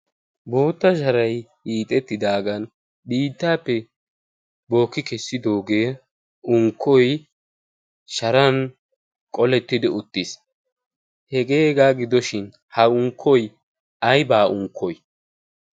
bootta sharay iixettidaagan biittaappe bookki kessidoogee unkkoy sharan qolettidi uttiis hegeegaa gidoshin ha unkkoy aybaa unkkoy ?